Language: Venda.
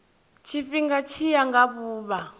tshifhinga tshi ya nga vhuvha